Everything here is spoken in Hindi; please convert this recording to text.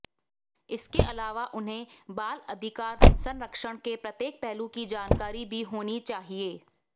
इसके अलावा उन्हें बाल अधिकार संरक्षण के प्रत्येक पहलू की जानकारी भी होनी चाहिए